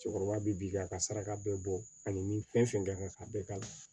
Cɛkɔrɔba bi bi a ka saraka bɛɛ bɔ ani ni fɛn fɛn kan ka bɛɛ kalan